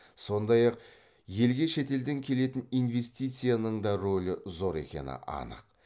сондай ақ елге шетелден келетін инвестицияның да ролі зор екені анық